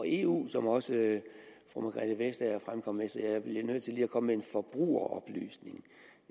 eu som også fru margrethe vestager fremkom med så jeg bliver nødt til lige at komme med en forbrugeroplysning